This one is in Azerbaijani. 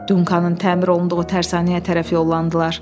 Dunkanın təmir olunduğu tərsanəyə tərəf yollandılar.